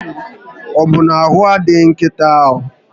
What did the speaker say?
Ọbụ na ahụ adịghị nkịta ahụ?